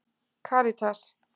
Karítas